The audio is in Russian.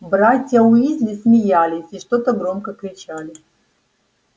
братья уизли смеялись и что-то громко кричали